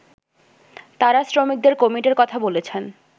তারা শ্রমিকদের কমিটির কথা বলেছেন